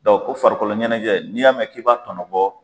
Dɔn ko farikoloɲɛnɛjɛ n'i y'a mɛn k' i b'a tɔnɔbɔ